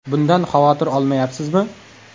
Bundan xavotir olmayapsizmi?